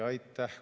Aitäh!